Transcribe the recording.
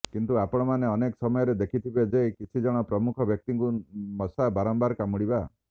କିନ୍ତୁ ଆପଣମାନେ ଅନେକ ସମୟରେ ଦେଖିଥିବେ ଯେ କିଛି ଜଣ ପ୍ରମୁଖ ବ୍ୟକ୍ତିଙ୍କୁ ମଶା ବାରମ୍ବାର କାମୁଡିବା